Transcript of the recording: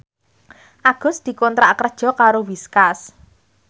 Agus dikontrak kerja karo Whiskas